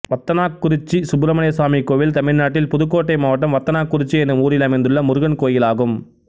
வத்தனாக்குறிச்சி சுப்பிரமணியசுவாமி கோயில் தமிழ்நாட்டில் புதுக்கோட்டை மாவட்டம் வத்தனாக்குறிச்சி என்னும் ஊரில் அமைந்துள்ள முருகன் கோயிலாகும்